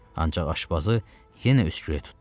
Ancaq aşpazı yenə öskürək tutdu.